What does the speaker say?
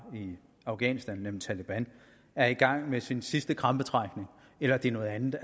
i afghanistan nemlig taleban er i gang med sin sidste krampetrækning eller det er noget andet